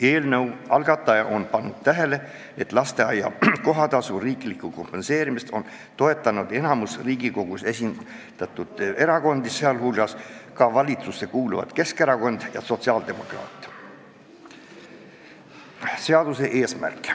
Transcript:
Eelnõu algataja on täheldanud, et lasteaia kohatasu riiklikku kompenseerimist on toetanud enamik Riigikogus esindatud erakondi, sh ka valitsusse kuuluvad Keskerakond ja sotsiaaldemokraadid.